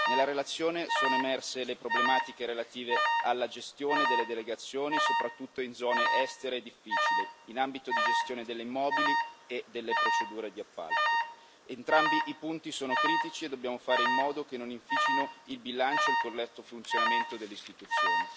Nella relazione sono emerse le problematiche relative alla gestione delle delegazioni, soprattutto in zone estere e difficili, nonché alla gestione degli immobili e delle procedure di appalto. Entrambi i punti sono critici e dobbiamo fare in modo che non inficino il bilancio e il corretto funzionamento delle Istituzioni.